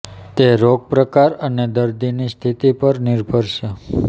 તે રોગ પ્રકાર અને દર્દીની સ્થિતિ પર નિર્ભર છે